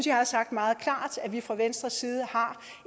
jeg har sagt meget klart at vi fra venstres side har